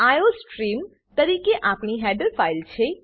iostream તરીકે આ આપણી હેડર ફાઈલ છે